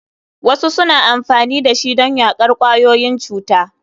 Wasu suna amfani da shi don yaƙar ƙwayoyin cuta.